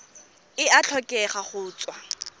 e a tlhokega go tswa